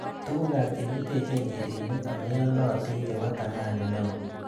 Tugukab chekiteche njirenik ameyonotin chebo thamani neo